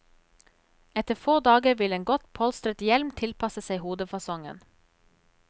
Etter få dager vil en godt polstret hjelm tilpasse seg hodefasongen.